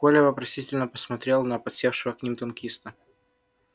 коля вопросительно посмотрел на подсевшего к ним танкиста